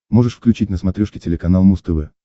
можешь включить на смотрешке телеканал муз тв